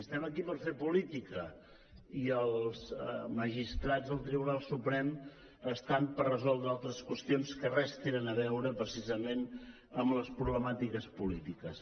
estem aquí per fer política i els magistrats del tribunal suprem hi són per resoldre altres qüestions que res tenen a veure precisament amb les problemàtiques polítiques